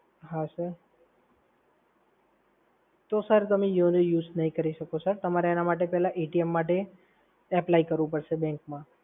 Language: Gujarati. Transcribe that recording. હા સર. તો સર તમે YONO use નહીં કરી શકો સર. એના માટે પહેલા માટે apply કરવું પડશે સર bank માં